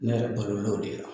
Ne yɛrɛ balola o de la